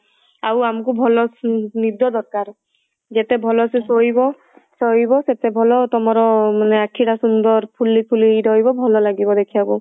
ଆଉ ଆମକୁ ଭଲ ନିଦ ଦରକାର ଯେତେ ଭଲ ସେ ଶୋଇବ ଶୋଇବ ସେତେ ଭଲ ତମର ମାନେ ଆଖି ଟା ସୁନ୍ଦର ଫୁଲି ଫୁଲି ହେଇକି ରହିବ ଭଲ ଲାଗିବ ଦେଖିବାକୁ